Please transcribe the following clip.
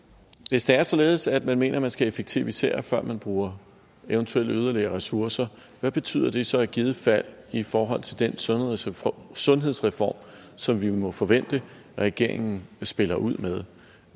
hvis det er således at man mener at man skal effektivisere før man bruger eventuelle yderligere ressourcer hvad betyder det så i givet fald i forhold til den sundhedsreform sundhedsreform som vi må forvente regeringen spiller ud med